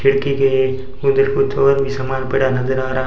लड़की के एक उधर कुछ और भी सामान पड़ा नजर आ रहा--